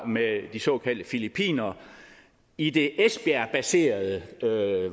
med de såkaldte filippinere i det esbjergbaserede